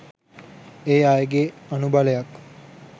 ඒ අයගෙන් අනුබලයක්